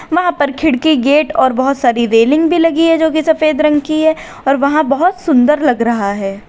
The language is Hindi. वहां पर खिड़की गेट और बहुत सारी रेलिंग भी लगी है जो कि सफेद रंग की है और वहां बहुत सुंदर लग रहा है।